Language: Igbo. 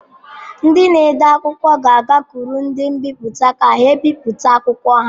Ndị na-ede akwụkwọ ga-agakwuru ndị mbipụta ka ha bipụta akwụkwọ ha.